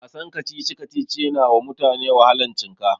Wasan kacici-kacici yanawa mutane wahalan cinka.